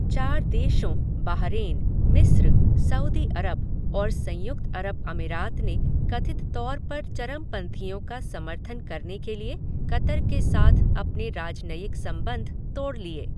चार देशों बाहरेन, मिस्र, सऊदी अरब और संयुक्त अरब अमीरात ने कथित तौर पर 'चरमपंथियों' का समर्थन करने के लिए कतर के साथ अपने राजनयिक संबंध तोड़ लिए।